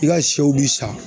I ka sɛw bi sa.